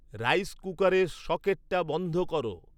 rice কুুকারের সকেটটা বন্ধ করো